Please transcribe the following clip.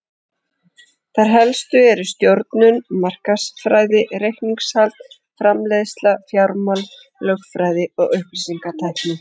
Þær helstu eru stjórnun, markaðsfræði, reikningshald, framleiðsla, fjármál, lögfræði og upplýsingatækni.